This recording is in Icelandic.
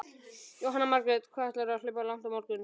Jóhanna Margrét: Hvað ætlarðu að hlaupa langt á morgun?